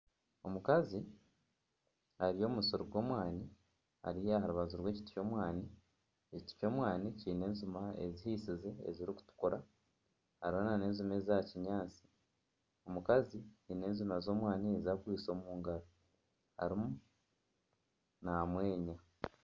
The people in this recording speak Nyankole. Omukazi ari omu musiri gw'omwaani ari aha rubaju rw'ekiti kyomwani ekiti ky'omwani kiine enjuma ezihisize ezirikutukura hariho nana ezimwe za kinyaatsi omukazi aine enjuma z'omwani ezi akwaitse omu ngaro arimu namweenya